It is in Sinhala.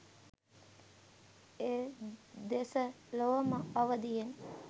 එදෙස ලොවම අවදියෙන්